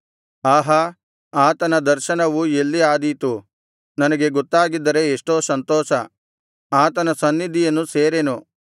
ಆಹಾ ಆತನ ದರ್ಶನವು ಎಲ್ಲಿ ಆದೀತು ನನಗೆ ಗೊತ್ತಾಗಿದ್ದರೆ ಎಷ್ಟೋ ಸಂತೋಷ ಆತನ ಸನ್ನಿಧಿಯನ್ನು ಸೇರೆನು